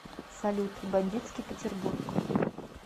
салют бандитский петербург